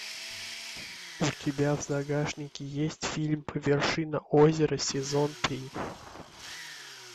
у тебя в загашнике есть фильм вершина озера сезон три